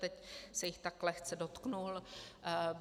Teď se jich tak lehce dotkl.